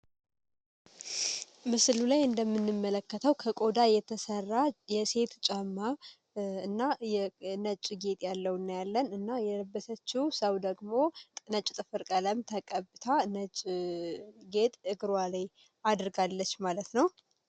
ምስሉ ላይ እንደምንመለከተው ከቆዳ የተሰራ የሴቱ ጫማ እና ነጭ ጌጥ ያለው ና ያለን እና የለበተችው ሰው ደግሞ ጥነጭ ጥፍር ቀለም ተቀብታ ነጭ ጌጥ እግሯ ላይ አድርጋለች ማለት ነው።